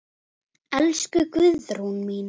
Elsku Guðrún mín.